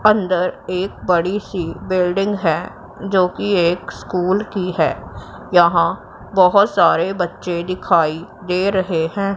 अंदर एक बड़ी सी बिल्डिंग हैं जो की एक स्कूल की हैं। यहां बहोत सारे बच्चे दिखाई दे रहे हैं।